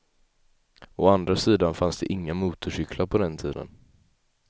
Å andra sidan fanns det inga motorcyklar på den tiden.